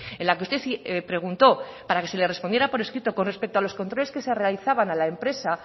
en la que usted preguntó para que se le respondiera por escrito con respecto a los controles que se realizaban a la empresa